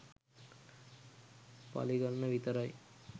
පළිගන්න විතරයි.